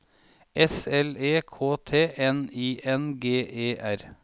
S L E K T N I N G E R